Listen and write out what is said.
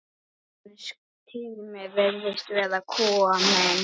Hans tími virðist vera kominn.